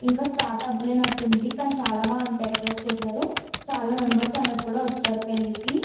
ఇక స్టార్ట్ అవ్వలేదట్టుంది. కానీ బాగా డెకరేట్ చేసారు. చాలా మెంబెర్స్ అనేది వచారు పెళ్ళికి.